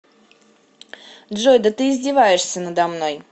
джой да ты издеваешься надо мной